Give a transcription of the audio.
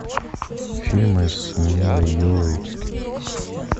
фильмы с милой йовович